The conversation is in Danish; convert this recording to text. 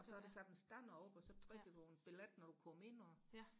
og så er der sat en stander op og så trækker du en billet når du kommer ind og